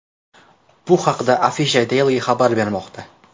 Bu haqda Afisha Daily xabar bermoqda .